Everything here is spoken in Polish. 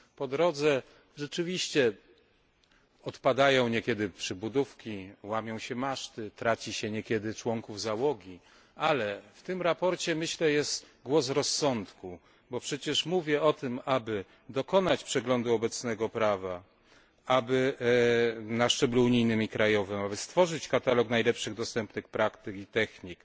Po drodze rzeczywiście odpadają niekiedy przybudówki, łamią się maszty, traci się niekiedy członków załogi. Ale w tym sprawozdaniu, myślę, jest głos rozsądku, bo przecież mówię o tym, aby dokonać przeglądu obecnego prawa na szczeblu unijnym i krajowym, aby stworzyć katalog najlepszych dostępnych praktyk i technik,